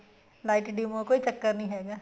light dim ਹੋਵੇ ਕੋਈ ਚੱਕਰ ਨੀ ਹੈਗਾ